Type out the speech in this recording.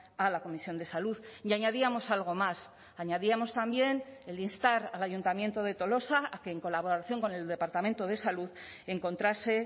a la comisión de salud y añadíamos algo más añadíamos también el instar al ayuntamiento de tolosa a que en colaboración con el departamento de salud encontrase